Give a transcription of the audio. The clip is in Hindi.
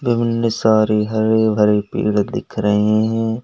सारी हरे भरे पेड़ दिख रहे हैं।